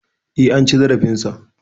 E, an ci zarafinsa.